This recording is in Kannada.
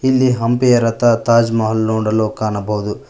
ಇಲ್ಲಿ ಹಂಪಿಯ ರಥ ತಾಜ್ ಮಹಲ್ ನೋಡಲು ಕಾಣಬಹುದು.